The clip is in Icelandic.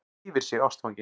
Yfir sig ástfangin.